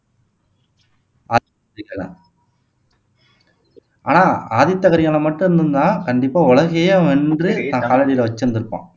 ஆனால் ஆதித்த கரிகாலன் மட்டும் இருந்திருந்தா கண்டிப்பா உலகத்தையே அவன் வென்று தன் காலடியில வச்சிருந்திருப்பான்